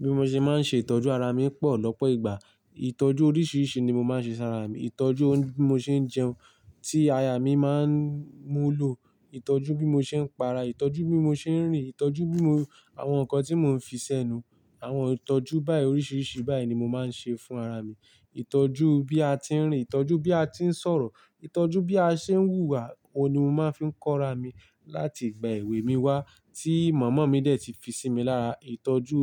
Bí mo ṣe máa ń ṣe ìtọ́jú ara mi pọ̀ lọ́pọ̀ ìgbà. Ìtọ́jú oríṣiríṣi ni mo máa ń ṣe sára mi. Ìtọ́jú oun bí mo ṣe ń jẹun, tí aya mi máa ń mú u lò. Ìtọ́jú bí mo ṣe ń para, ìtọ́jú bí mo ṣe ń rìn, ìtọ́jú bí mo àwọn nǹkan tí mò ń fi sẹ́nu, àwọn ìtọ́jú báyìí oríṣiríṣi báyìí ni mo máa ń ṣe fún ara mi. Ìtọ́jú bí a ti ń rìn, ìtọ́jú bí a ti ń sọ̀rọ̀, ìtọ́jú bí a ṣe ń hùwà, òun ni mo máa ń fi ń kọ́ra mi láti ìgbà èwe mi wá tí màmá mi dẹ̀ ti fi sí mi lára. Ìtọ́jú,